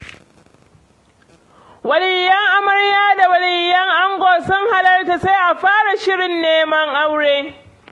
Waliyan amarya da waliyan ango sun hallara, sai a fara shirin neman aure.